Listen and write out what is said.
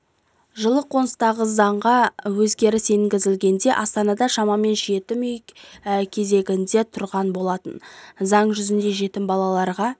жылы қолданыстағы заңға өзгеріс енгізілгенде астанада шамамен жетім үй кезегінде тұрған болатын заң жүзінде жетім балаларға